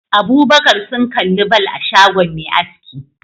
Abubakar sun kalli ball a shagon Me aski